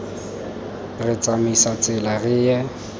re tsamaise tsela re ye